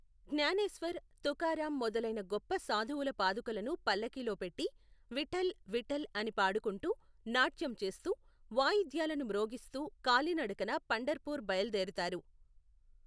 జ్ఞానేశ్వర్, తుకారామ్ మొదలైన గొప్ప సాధువుల పాదుకలను పల్లకీలో పెట్టి, విఠ్ఠల్, విఠ్ఠల్ అని పాడుకుంటూ, నాట్యం చేస్తూ, వాయిద్యాలను మ్రోగిస్తూ కాలి నడకన పండర్ పూర్ బయలుదేరతారు.